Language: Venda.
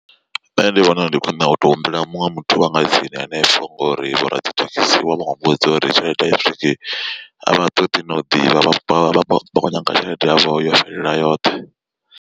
Nṋe ndi vhona ndi khwine u to humbela muṅwe muthu wanga tsini hanefho ngori vho radzithekhisi vha vho muvhudza uri tshelede ai swiki avha ṱoḓi na u ḓivha vhakho nyaga tshelede yavho yo fhelela yoṱhe.